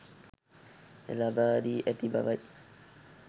ලබා දී ඇති බවයි.